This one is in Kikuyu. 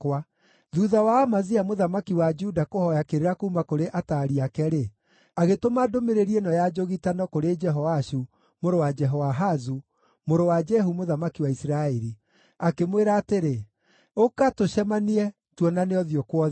Thuutha wa Amazia mũthamaki wa Juda kũhooya kĩrĩra kuuma kũrĩ ataari ake-rĩ, agĩtũma ndũmĩrĩri ĩno ya njũgitano kũrĩ Jehoashu mũrũ wa Jehoahazu, mũrũ wa Jehu mũthamaki wa Isiraeli, akĩmwĩra atĩrĩ: “Ũka, tũcemanie, tuonane ũthiũ kwa ũthiũ.”